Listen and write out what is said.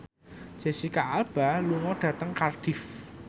Jesicca Alba lunga dhateng Cardiff